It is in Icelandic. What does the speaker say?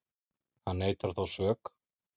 Hann neitar þó sök